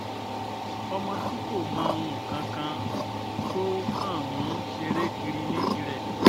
ọmọ tí kò mọ nǹkan kan tó kàn ń ṣeré kiri ní tirẹ̀